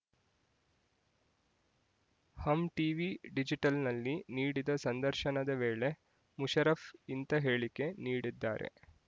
ಹಮ್ TV ಡಿಜಿಟಲ್‌ನಲ್ಲಿ ನೀಡಿದ ಸಂದರ್ಶನದ ವೇಳೆ ಮುಷರಫ್ ಇಂತ ಹೇಳಿಕೆ ನೀಡಿದ್ದಾರೆ